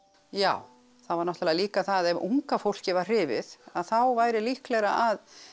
já það var náttúrulega líka að ef unga fólkið var hrifið að þá væri líklegra að